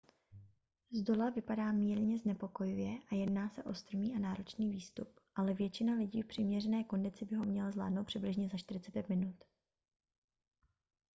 zdola vypadá mírně znepokojivě a jedná se o strmý a náročný výstup ale většina lidí v přiměřené kondici by ho měla zvládnout přibližně za 45 minut